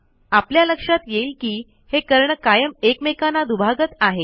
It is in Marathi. आपल्या लक्षात येईल की हे कर्ण कायम एकमेकांना दुभागत आहेत